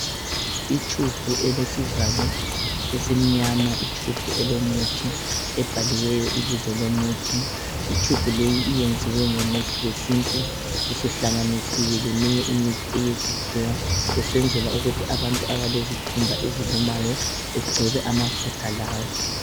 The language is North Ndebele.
Itshubhu elesivalo esimnyama, itshubhu elomuthi ebhaliweyo Ibizo lomunthi itshubhu leyi iyenziwe ngomuthi wesintu usuhlanganisiwe leminye imithi eyesikhiwa besenzela ukuthi abantu abalezikhumba ezilumayo begcobe amafutha lawa.